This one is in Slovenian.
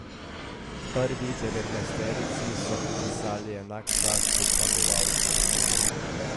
Prvi devetnajsterici so pripisali enak čas kot zmagovalcu.